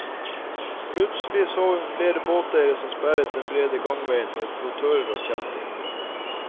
Plutselig så hun flere båteiere som sperret den brede gangveien med flottører og kjettinger.